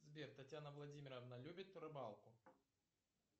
сбер татьяна владимировна любит рыбалку